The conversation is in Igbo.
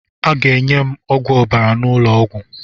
Aga enye m ọgwụ ọbara n'ụlọ ọgwụ.